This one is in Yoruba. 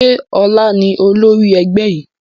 Ṣé ọlá ni olórí ẹgbẹ́ yìí?